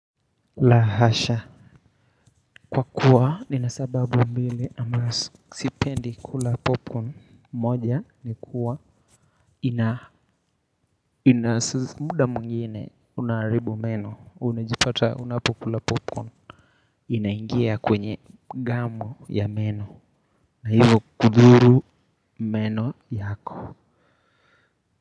La hasha kwa kuwa nina sababu mbili ama sipendi kula popcorn moja ni kuwa ina ina muda mwingine unaharibu meno unajipata unapokula popcorn inaingia kwenye gamu ya meno na hivo kudhuru meno yako.